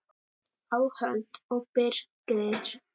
Áhöld og birgðir